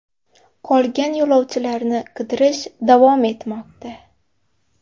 Qolgan yo‘lovchilarni qidirish davom etmoqda.